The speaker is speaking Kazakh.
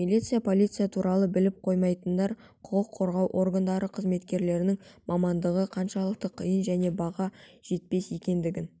милиция-полиция туралы біліп қоймайтындар құқық қорғау органдары қызметкерінің мамандығы қаншалықты қиын және баға жетпес екендігін